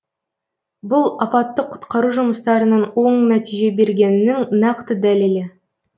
бұл апаттық құтқару жұмыстарының оң нәтиже бергенінің нақты дәлелі